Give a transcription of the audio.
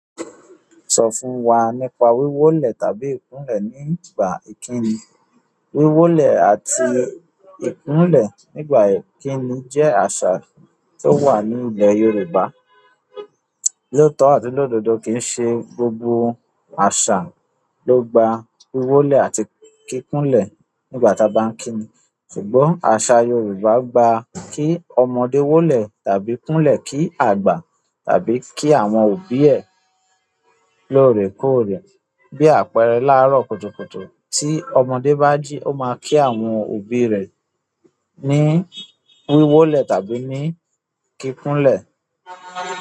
Sọ fún wa nípa wíwólẹ̀ tàbí ìkúnlẹ̀ nígbà ìkíni. Wíwólẹ̀ àti ìkúnlẹ̀ nígbà ìkíni jẹ́ àṣà tó wà ní ilẹ̀ Yorùbá. Lótọ̀ àti lóòdodo kì í ṣe gbogbo àṣà ló gba wíwólẹ̀ àti kí kúnlẹ̀ nígbà tí a bá ń kíni. Ṣùgbọ́n asa yorùbá gba ki ọmọdé wọlé tàbí kunlẹ ki agba tàbí ki àwọn òbí ẹ loorekoore. Bí àpẹẹrẹ, láàárọ̀ kùtùkùtù, tí ọmọdé bá jí ó máa kí àwọn òbí rẹ̀ ní wíwólẹ̀ tàbí ní kí kúnlẹ̀.